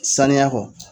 Saniya kɔ